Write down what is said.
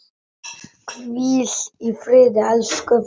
Hvíl í friði, elsku frændi.